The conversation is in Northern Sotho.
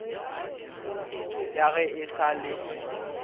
ya ge e sa le